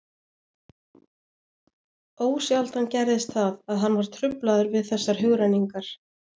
Ósjaldan gerðist það, að hann var truflaður við þessar hugrenningar.